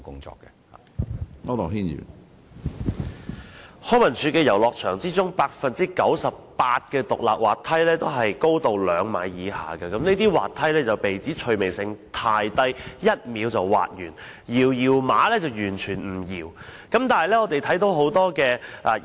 在康文署轄下的遊樂場當中，有 98% 的獨立滑梯的高度均在兩米以下，這些滑梯被指趣味性太低，只須一秒便已滑完，"搖搖馬"更是完全無法搖動。